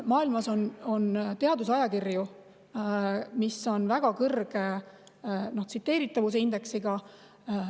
Maailmas on teadusajakirju, mis on väga kõrge tsiteeritavuse indeksiga.